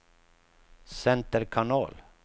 center kanal